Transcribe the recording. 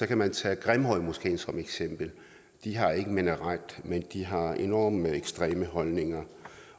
kan man tage grimhøjmoskeen som eksempel de har ikke en minaret men de har enormt ekstreme holdninger